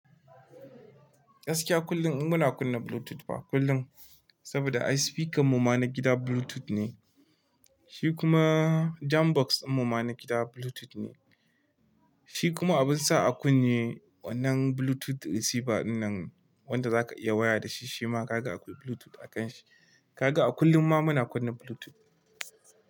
Gaskiya kullum muna kunna Bluetooth fa kullum, saboda ai spikar mu ma na gida Bluetooth ne, shi kuma jam box ɗin mu ma na gida Bluetooth ne. Shi kuma abin sa a kunne wannan Bluetooth receiver ɗinnan wanda za ka iya waya da shi, shi ma ka ga akwai Bluetooth a kan shi. Ka ga a kullum ma muna kunna Bluetooth.